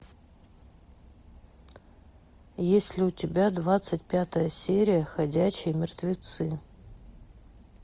есть ли у тебя двадцать пятая серия ходячие мертвецы